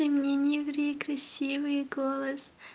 ты мне не ври красивый голос